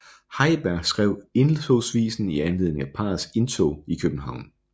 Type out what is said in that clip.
Heiberg skrev Indtogsvisen i anledning af parrets indtog i København